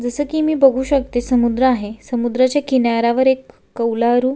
जसे की मी बघू शकते समुद्र आहे समुद्राच्या किनाऱ्यावर एक कौलारू--